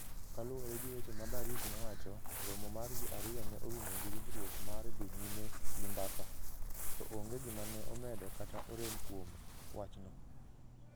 Kaluwore gi weche ma Barrick nowacho, romo mar ji ariyo ne orumo gi winjruok mar dhi nyime gi mbaka, to onge gima ne omedo kata orem kuom wachno.